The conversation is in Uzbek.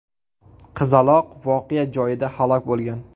Qizaloq voqea joyida halok bo‘lgan.